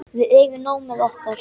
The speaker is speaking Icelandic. Við eigum nóg með okkar.